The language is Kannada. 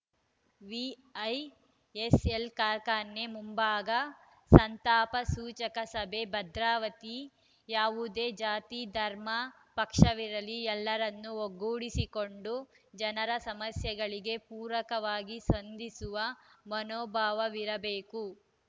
ವಿಐಎಸ್‌ಎಲ್‌ ಕಾರ್ಖಾನೆ ಮುಂಭಾಗ ಸಂತಾಪ ಸೂಚಕ ಸಭೆ ಭದ್ರಾವತಿ ಯಾವುದೇ ಜಾತಿ ಧರ್ಮ ಪಕ್ಷವಿರಲಿ ಎಲ್ಲರನ್ನು ಒಗ್ಗೂಡಿಸಿಕೊಂಡು ಜನರ ಸಮಸ್ಯೆಗಳಿಗೆ ಪೂರಕವಾಗಿ ಸ್ಪಂದಿಸುವ ಮನೋಭಾವವಿರಬೇಕು